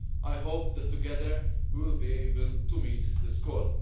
I hope that together we will be able to meet this call.